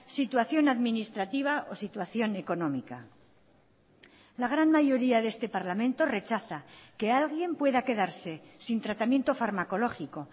situación administrativa o situación económica la gran mayoría de este parlamento rechaza que alguien pueda quedarse sin tratamiento farmacológico